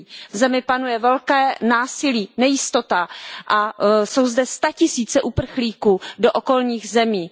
V zemi panuje velké násilí, nejistota a jsou zde statisíce uprchlíků do okolních zemí.